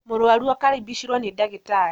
Mũrwaru akarimbicirwo nĩ ndagĩtarĩ